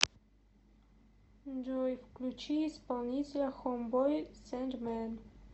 джой включи исполнителя хоумбой сэндмэн